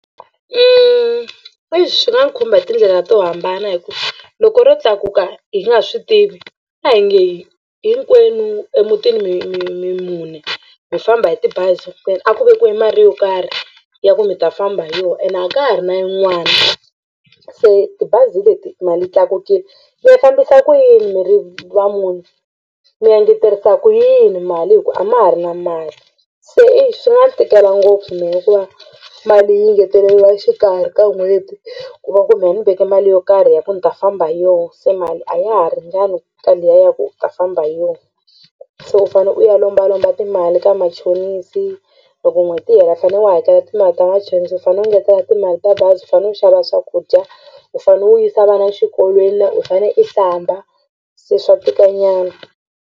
Exi swi nga ni khumba hi tindlela to hambana hi ku loko ro tlakuka hi nga swi tivi a hi nge hinkwenu emutini mi mi mi mune mi famba hi tibazi a ku vekiwa mali yo karhi ya ku mi ta famba hi yona ene a ka ha ri na yin'wana se tibazi hi leti mali yi tlakukile mi ya fambisa ku yini mi ri va mune mi ya ngeterisa ku yini mali hi ku a ma ha ri na mali se exi swi nga ni tikela ngopfu mina ku va mali yi engeteriwa exikarhi ka n'hweti ku va ku mehe ni veke mali yo karhi ya ku ni ta famba hi yona se mali a ya ha ringani ka liya ya ku u ta famba hi yona se u fane u ya lombalomba timali ka machonisi loko n'hweti yi hela u fanele u hakela timali ta machonisi u fanele u ngetela timali ta bazi u fanele u xava swakudya u fanele u yisa vana exikolweni na u fane i hlamba se swa tikanyana.